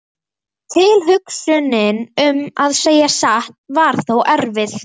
Tilhugsunin um að segja satt var þó erfið.